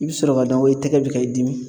I bi sɔrɔ k'a dɔn ko i tɛgɛ be ka i dimi.